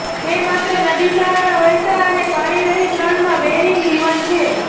તે માત્ર નદી સહારા વહેતા અને પાણીરહિત રણમાં બેરિંગ જીવન છે